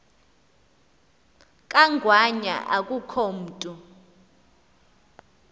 kangwanya akukho mntu